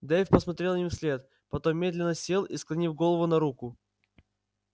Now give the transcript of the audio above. дейв посмотрел им вслед потом медленно сел и склонил голову на руку